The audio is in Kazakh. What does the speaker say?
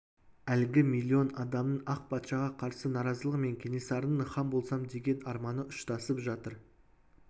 әлгі миллион адамның ақ патшаға қарсы наразылығы мен кенесарының хан болсам деген арманы ұштасып жатыр